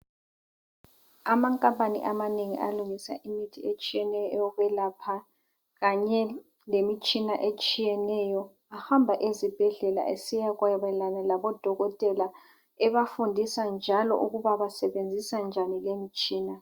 Ama Company amanengi alungisa imithi etshiyeneyo eyokwelapha, kanye lemitshina etshiyeneyo ahamba ezibhedlela esiyakwabelana labo dokotela ebafundisa njalo ukuba basebenzisa njani lemitshina.